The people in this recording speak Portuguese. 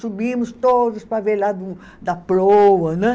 Subimos todos para ver lá do da proa né.